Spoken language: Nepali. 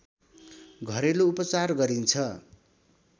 घरेलु उपचार गरिन्छ